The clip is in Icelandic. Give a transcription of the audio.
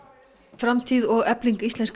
framtíð og efling íslenska